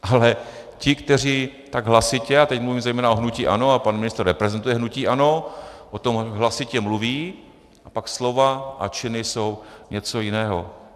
Ale ti, kteří tak hlasitě, a teď mluvím zejména o hnutí ANO, a pan ministr reprezentuje hnutí ANO, o tom hlasitě mluví, a pak slova a činy jsou něco jiného.